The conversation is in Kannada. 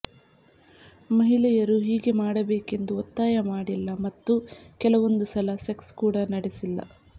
ಮಹಿಳೆಯರು ಹೀಗೆ ಮಾಡಬೇಕೆಂದು ಒತ್ತಾಯ ಮಾಡಿಲ್ಲ ಮತ್ತು ಕೆಲವೊಂದು ಸಲ ಸೆಕ್ಸ್ ಕೂಡ ನಡೆಸಿಲ್ಲ